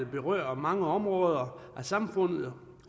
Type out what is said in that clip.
berører mange områder af samfundet